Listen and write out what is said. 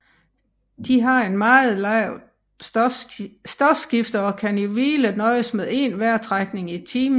De har et meget lavt stofskifte og kan i hvile nøjes med én vejrtrækning i timen